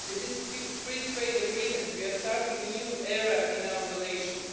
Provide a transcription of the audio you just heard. With this free trade agreement we are starting a new era in our relations.